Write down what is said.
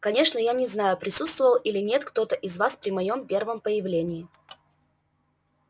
конечно я не знаю присутствовал или нет кто-то из вас при моем первом появлении